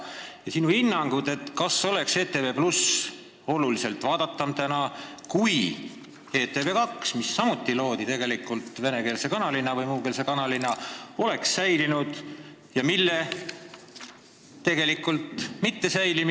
Kas ETV+ oleks praegu oluliselt vaadatum kanal, kui ETV2, mis loodi tegelikult samuti venekeelse või muukeelse kanalina, oleks sellisena säilinud?